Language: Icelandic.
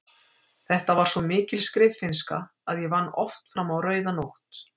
Þetta var svo mikil skriffinnska að ég vann oft fram á rauða nótt.